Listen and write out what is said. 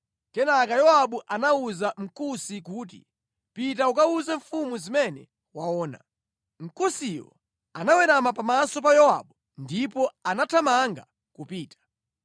Kenaka Yowabu anawuza Mkusi kuti, “Pita ukawuze mfumu zimene waona.” Mkusiyo anawerama pamaso pa Yowabu ndipo anathamanga kupita.